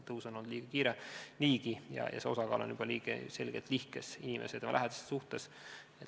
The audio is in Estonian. Tõus on olnud niigi väga kiire ja see osakaal on juba praegu selgelt nihkes inimese ja tema lähedaste suhtes.